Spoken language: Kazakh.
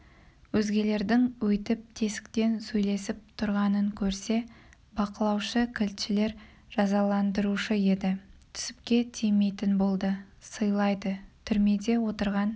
өзгелердің өйтіп тесіктен сөйлесіп тұрғанын көрсе бақылаушы кілтшілер жазаландырушы еді түсіпке тимейтін болды сыйлайды түрмеде отырған